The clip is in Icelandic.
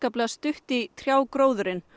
stutt í trjágróðurinn